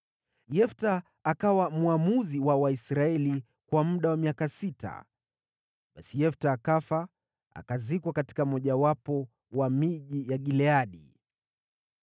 Yefta akawa mwamuzi wa Waisraeli kwa muda wa miaka sita. Basi Yefta akafa, akazikwa katika mmojawapo wa miji ya Gileadi.